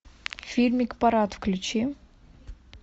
фильмик парад включи